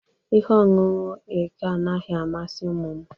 Ihe ọṅụṅụ eke anaghị amasị ụmụ m